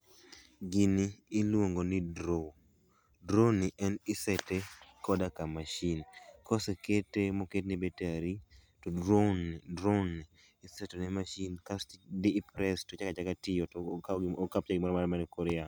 gini iluongo ni drone. Drone ni en isete koda ka machine kosekete moketne battery, to drone, drone isetone machine kasto i press to chak achaka tiyo to o capture man e koryamo